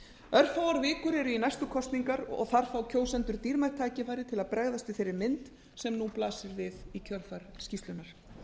örfáar vikur eru í næstu kosningar og þar fá kjósendur dýrmætt tækifæri til að bregðast við þeirri mynd sem nú blasir við í kjölfar skýrslunnar